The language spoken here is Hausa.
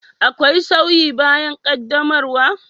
Akwai sauyi bayan qaddamarwa?